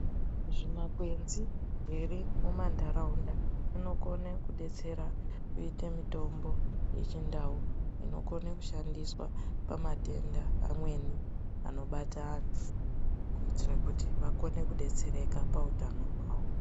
Zvimakwenzi here mumanharaunda zvinokone kudetsera kuite mitombo yechindau inokone kushandiswa pamatenda amweni anobata anhu kuitira kuti akone kudetsereka pautano hwawo.